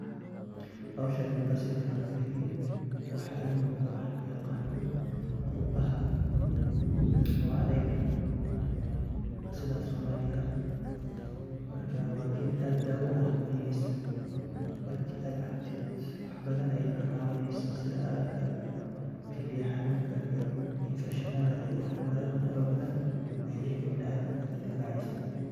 Hawshan marka siifican ufiiriye waxa iga muqdo wax lo ya qano qubaha oo adeega sidha somaliga marka waa geed aad daawa uha biyhisa marka aa cabtid waax badhan aye ka cawineysa sidhaa araaga iyo kiliya xanunka iyo Infection iyo wax faara badhan ee jirka biniadamka kadiifaceysa